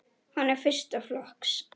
Hann er fyrsta flokks.